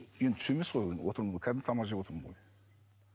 енді түс емес қой отырмын ғой кәдімгі тамақ жеп отырмын ғой